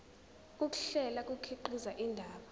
ukuhlela kukhiqiza indaba